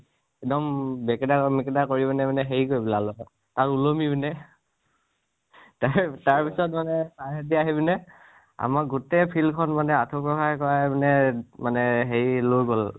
এক্দম বেকেতা মেকেতা কৰি পিনে মানে হেৰি কৰি পেলালো মানে, তাত উলমি পিনে তাৰ তাৰ পিছত মানে sir হতে আহি পিনে আমাৰ গোটেই field খন মানে আঠুঁ কঢ়োৱাই কঢ়োৱাই মানে মানে হেৰি লৈ গʼল